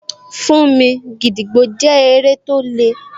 Fún mi, gídígbò jẹ́ eré tó le